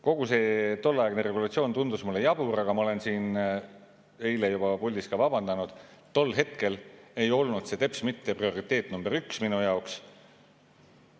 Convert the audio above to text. Kogu see tolleaegne regulatsioon tundus mulle jabur, aga ma eile siin puldis ka vabandasin, et tol hetkel ei olnud see teps mitte prioriteet number üks minu jaoks.